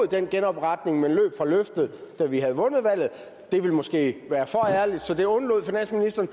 den genopretning men løb fra løftet da vi havde vundet valget det ville måske været for ærligt så det undlod finansministeren